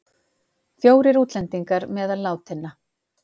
Fjórir útlendingar meðal látinna